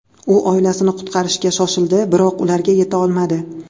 U oilasini qutqarishga shoshildi, biroq ularga yeta olmadi.